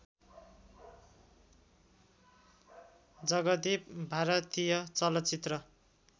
जगदीप भारतीय चलचित्र